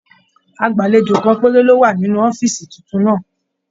Agbalejo kan péré ló wà nínú ọ̀fiísí títún náà.